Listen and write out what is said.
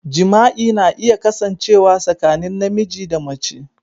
Jima'i na iya kasancewa tsakanin namiji da mace.